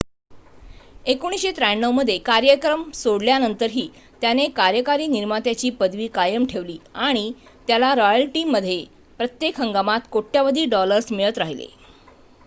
1993 मध्ये कार्यक्रम सोडल्यानंतरही त्याने कार्यकारी निर्मात्याची पदवी कायम ठेवली आणि त्याला रॉयल्टीमध्ये प्रत्येक हंगामात कोट्यावधी डॉलर्स मिळत राहिले